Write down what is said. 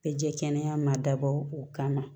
Bɛɛ jɛ kɛnɛ ma dabɔ o kama